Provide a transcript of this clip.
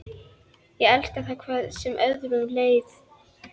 Ég elskaði það hvað sem öðru leið.